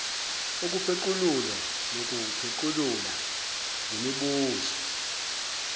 ukupheqululwa nokuphequlula ngemibuzo